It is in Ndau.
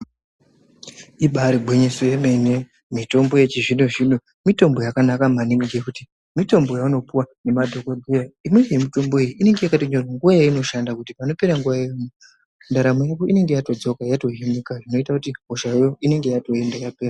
Imbari gwinyiso remene, mitombo yechizvino zvino mitombo yakanaka maningi ngekuti mitombo yaunopiwa ngemadhokodhera. Imweni yemitombo iyi inenge yakanyorwa nguwa yainoshanda kuti panopera nguwa iyoyo, ntaramo yako inenge yatodzoka yatohinika, zvinoita kuti hoshayo inenge yatoinda, yatopera.